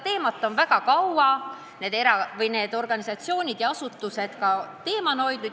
Need organisatsioonid on seda teemat väga kaua endaga kandnud.